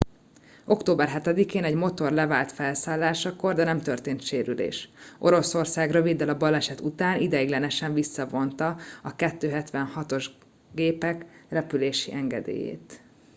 október 7-én egy motor levált felszálláskor de nem történt sérülés. oroszország röviddel a baleset után ideiglenesen visszavonta a il-76-os gépek repülési engedélyét